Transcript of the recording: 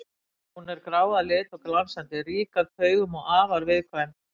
Hún er grá að lit og glansandi, rík af taugum og afar viðkvæm.